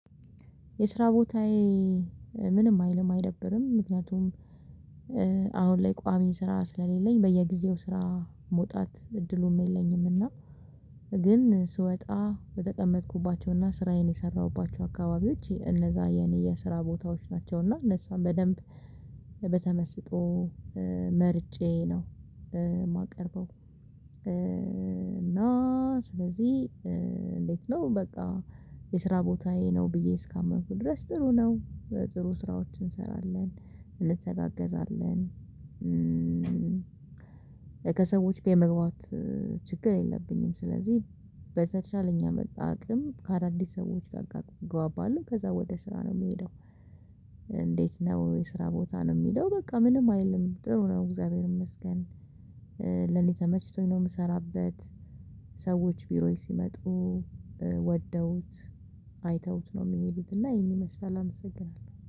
የስራ ቦታዬ ምንም አይልም አይደብርም ምክንያቱም አሁን ላይ ቋሚ ስራ ስለሌለኝ በየጊዜው ስራ መውጣት እድሉም የለኝም እና ግን ስወጣ በተቀመጥኩባቸውና ስራዬን የሰራሁባቸው አካባቢዎች እነዛ የኔ የስራ ቦታዎች ናቸውና እነሱን በደንብ በተመስጦ መርጬ ነው የማቀርበው እና ስለዚህ እንዴት ነው በቃ የስራ ቦታዬ ነው ብዬ እስካመርኩ ድረስ ጥሩ ነው ጥሩ ስራዎችን እንሰራለን እንተጋገዛለን ከሰዎች ጋ የመግባባት ችግር የለብኝም። ስለዚህ በተቻለኝ አቅም ከአዳዲስ ሰዎች ጋር ጋር እግባባለሁ ከዛ ወደ ስራ ነው የምሄደው። እንዴት ነው የስራ ቦታ? ነው የሚለው በቃ ምንም አይልም ጥሩ ነው እግዚአብሔር ይመስገን! ለኔ ተመችቶኝ ነው ምሰራበት። ሰዎች ቢሮዬ ሲመጡ ወደውት አይተውት ነው ሚሄዱት እና ይሄን ይመስላል። አመሰግናለሁ!